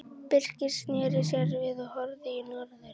Birkir sneri sér við og horfði í norður.